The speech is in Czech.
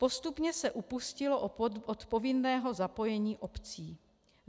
Postupně se upustilo od povinného zapojení obcí.